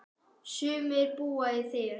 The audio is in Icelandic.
Sumir búa í þér.